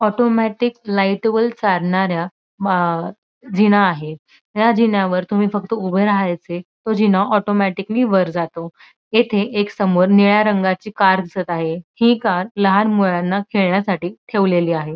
Automatic light वर चालणाऱ्या जीना आहे या जिन्यावर तुम्ही फक्त उभ राहायचे तो जिना ऑटोमॅटिकली वर जातो येथे एक समोर निळ्या रंगाची कार दिसत आहे ही कार लहान मुलांना खेळण्यासाठी ठेवलेली आहे.